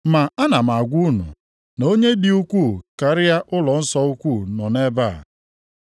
Ma ana m agwa unu na onye dị ukwuu karịa ụlọnsọ ukwu nọ nʼebe a.